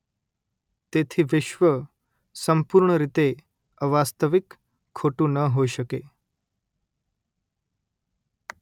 તેથી વિશ્વ સંપૂર્ણ રીતે અવાસ્તવિક ખોટું ન હોઈ શકે